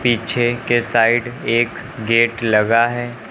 पीछे के साइड एक गेट लगा है।